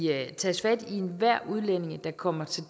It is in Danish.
enhver udlænding der kommer til